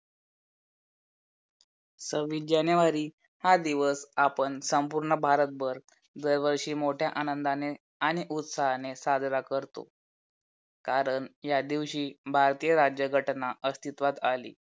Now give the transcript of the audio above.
सव्वीस जानेवारी हा दिवस आपण संपूर्ण भारतभर दरवर्षी मोठ्या आनंदाने आणि उत्साहाने साजरा करतो कारण या दिवशी भारतही राज्यघटना अस्तित्वात आली.